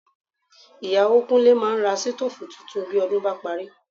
Ìyàwó Kúnlé máa ra sítóòfù tuntun bí ọdún bá parí